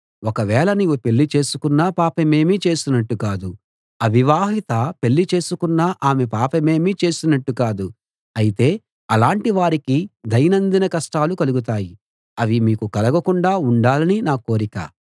ఒకవేళ నీవు పెళ్ళి చేసుకున్నా పాపమేమీ చేసినట్టు కాదు అవివాహిత పెళ్ళి చేసుకున్నా ఆమె పాపమేమీ చేసినట్టు కాదు అయితే అలాటి వారికి దైనందిన కష్టాలు కలుగుతాయి అవి మీకు కలగకుండా ఉండాలని నా కోరిక